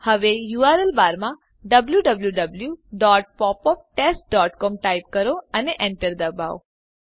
હવે યુઆરએલ બારમાં w w w dot pop up test dot C O M type કરો અને Enter દબાવો